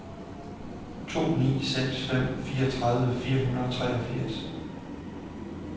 to ni seks fem fireogtredive fire hundrede og treogfirs